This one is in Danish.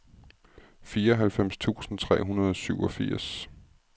fireoghalvfems tusind tre hundrede og syvogfirs